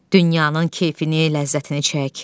Dünyanın keyfini, ləzzətini çək.